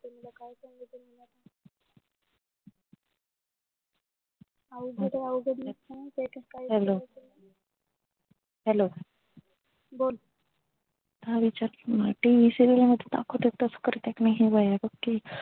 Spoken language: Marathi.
अवघडय अवघड लई माहितेका hello hello बोल ह tv serial मध्ये दाखवतात तसं करतेत ना ते वयय बघ ते